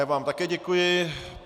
Já vám také děkuji.